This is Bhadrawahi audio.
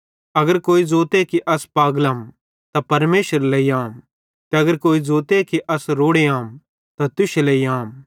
अगर कोई ज़ोते कि अस पागलम त परमेशरेरे लेइ अहम ते अगर कोई ज़ोते कि अस रोड़े अहम त तुश्शे लेइ आम